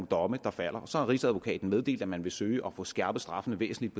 domme der falder så har rigsadvokaten meddelt at man vil søge at få skærpet straffene væsentligt